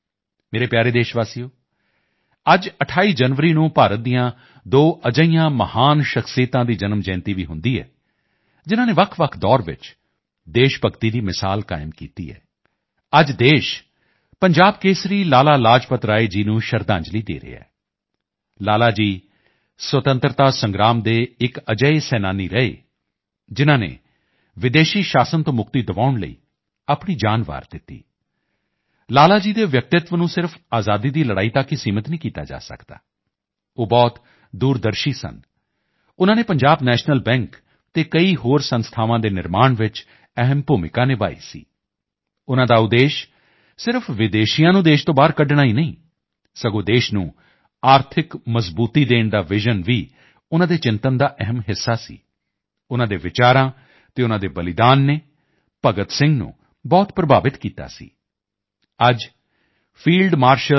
ਮੇਰੇ ਪਿਆਰੇ ਦੇਸ਼ਵਾਸੀਓ ਅੱਜ 28 ਜਨਵਰੀ ਨੂੰ ਭਾਰਤ ਦੀਆਂ ਦੋ ਅਜਿਹੀਆਂ ਮਹਾਨ ਸ਼ਖ਼ਸੀਅਤਾਂ ਦੀ ਜਨਮ ਜਯੰਤੀ ਵੀ ਹੁੰਦੀ ਹੈ ਜਿਨ੍ਹਾਂ ਨੇ ਵੱਖਵੱਖ ਦੌਰ ਚ ਦੇਸ਼ ਭਗਤੀ ਦੀ ਮਿਸਾਲ ਕਾਇਮ ਕੀਤੀ ਹੈ ਅੱਜ ਦੇਸ਼ ਪੰਜਾਬ ਕੇਸਰੀ ਲਾਲਾ ਲਾਜਪਤ ਰਾਏ ਜੀ ਨੂੰ ਸ਼ਰਧਾਂਜਲੀ ਦੇ ਰਿਹਾ ਹੈ ਲਾਲਾ ਜੀ ਸੁਤੰਤਰਤਾ ਸੰਗ੍ਰਾਮ ਦੇ ਇੱਕ ਅਜਿਹੇ ਸੈਨਾਨੀ ਰਹੇ ਜਿਨ੍ਹਾਂ ਨੇ ਵਿਦੇਸ਼ੀ ਸ਼ਾਸਨ ਤੋਂ ਮੁਕਤੀ ਦਿਵਾਉਣ ਲਈ ਆਪਣੀ ਜਾਨ ਵਾਰ ਦਿੱਤੀ ਲਾਲਾ ਜੀ ਦੇ ਵਿਅਕਤੀਤਵ ਨੂੰ ਸਿਰਫ਼ ਆਜ਼ਾਦੀ ਦੀ ਲੜਾਈ ਤੱਕ ਸੀਮਿਤ ਨਹੀਂ ਕੀਤਾ ਜਾ ਸਕਦਾ ਉਹ ਬਹੁਤ ਦੂਰਦਰਸ਼ਨ ਸਨ ਉਨ੍ਹਾਂ ਨੇ ਪੰਜਾਬ ਨੈਸ਼ਨਲ ਬੈਂਕ ਅਤੇ ਕਈ ਹੋਰ ਸੰਸਥਾਵਾਂ ਦੇ ਨਿਰਮਾਣ ਚ ਅਹਿਮ ਭੂਮਿਕਾ ਨਿਭਾਈ ਸੀ ਉਨ੍ਹਾਂ ਦਾ ਉਦੇਸ਼ ਸਿਰਫ਼ ਵਿਦੇਸ਼ੀਆਂ ਨੂੰ ਦੇਸ਼ ਤੋਂ ਬਾਹਰ ਕੱਢਣਾ ਹੀ ਨਹੀਂ ਸਗੋਂ ਦੇਸ਼ ਨੂੰ ਆਰਥਿਕ ਮਜ਼ਬੂਤੀ ਦੇਣ ਦਾ ਵਿਜ਼ਨ ਵੀ ਉਨ੍ਹਾਂ ਦੇ ਚਿੰਤਨ ਦਾ ਅਹਿਮ ਹਿੱਸਾ ਸੀ ਉਨ੍ਹਾਂ ਦੇ ਵਿਚਾਰਾਂ ਅਤੇ ਉਨ੍ਹਾਂ ਦੇ ਬਲੀਦਾਨ ਨੇ ਭਗਤ ਸਿੰਘ ਨੂੰ ਬਹੁਤ ਪ੍ਰਭਾਵਿਤ ਕੀਤਾ ਸੀ ਅੱਜ ਫੀਲਡ ਮਾਰਸ਼ਲ ਕੇ